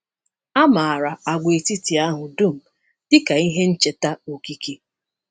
A mara agwaetiti ahụ dum dị ka ihe ncheta okike.